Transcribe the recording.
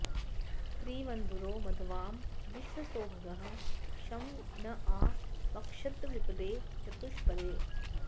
त्रि॒व॒न्धु॒रो म॒घवा॑ वि॒श्वसौ॑भगः॒ शं न॒ आ व॑क्षद्द्वि॒पदे॒ चतु॑ष्पदे